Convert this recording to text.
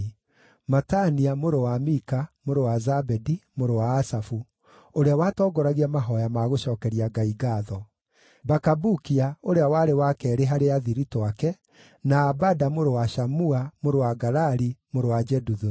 Matania mũrũ wa Mika, mũrũ wa Zabedi, mũrũ wa Asafu, ũrĩa watongoragia mahooya ma gũcookeria Ngai ngaatho; Bakabukia ũrĩa warĩ wa keerĩ harĩ athiritũ ake: na Abada mũrũ wa Shamua, mũrũ wa Galali, mũrũ wa Jeduthuni.